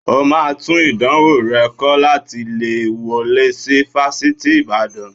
O máa tún ìdánwò rẹ kọ láti lè wọlé sí Fásitì Ìbàdàn